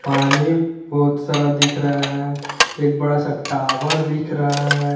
पानी बहुत सारा दिख रहा हैं एक बड़ा सा टॉवर दिख रहा हैं।